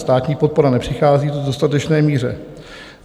Státní podpora nepřichází v dostatečné míře.